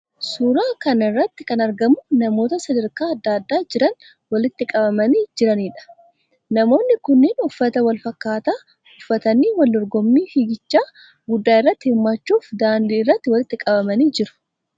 Suuraa kana irratti kan argamu namoota sadarkaa adda addaa jiran walitti qabamanii jiraniidha. Namoonni kunneen uffata wal fakkaataa uffatanii wal dorgommii fiigichaa guddaa irratti hirmaachuuf daandii irratti walitti qabamanii jiru.